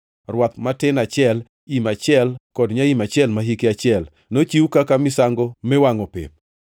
rwath matin achiel, im achiel kod nyaim achiel ma hike achiel, nochiw kaka misango miwangʼo pep;